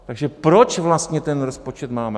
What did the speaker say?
Takže proč vlastně ten rozpočet máme?